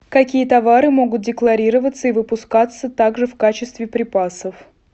какие товары могут декларироваться и выпускаться также в качестве припасов